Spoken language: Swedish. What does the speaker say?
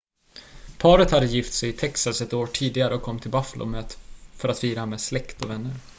paret hade gift sig i texas ett år tidigare och kom till buffalo för att fira med släkt och vänner